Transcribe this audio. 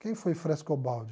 Quem foi Frescobaldi?